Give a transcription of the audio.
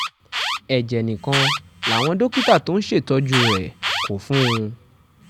ẹ̀jẹ̀ nìkan làwọn dókítà tó ń ṣètọ́jú rẹ̀ kó fún un